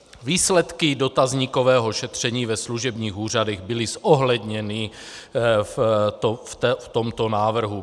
Výsledky dotazníkového šetření ve služebních úřadech byly zohledněny v tomto návrhu.